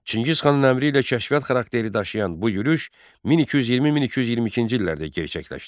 Çingiz xanın əmri ilə kəşfiyyat xarakteri daşıyan bu yürüş 1220-1222-ci illərdə gerçəkləşdi.